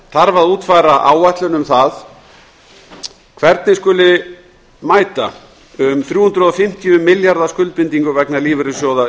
þarf að útfæra áætlun um hvernig mæta skuli um þrjú hundruð og fimmtíu milljarða skuldbindingum vegna lífeyrissjóða